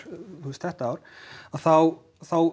þetta ár þá þá